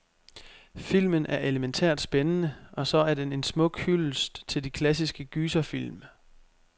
Filmen er elemæntært spændende, og så er den en smuk hyldest til de klassiske gyserfilm.